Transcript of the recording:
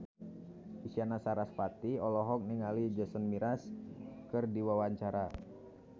Isyana Sarasvati olohok ningali Jason Mraz keur diwawancara